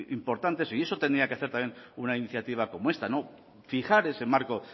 importante y eso tendría que hacer también una iniciativa como esta no fijar ese marco